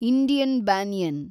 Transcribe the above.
Indian banyan